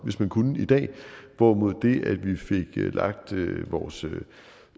hvis man kunne i dag hvorimod det at vi fik lagt vores